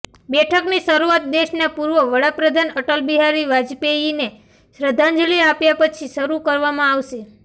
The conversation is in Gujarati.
બેઠકની શરુઆત દેશના પૂર્વ વડાપ્રધાન અટલ બિહારી વાજપેયીને શ્રદ્ધાંજલિ આપ્યા પછી શરુ કરવામાં આવશે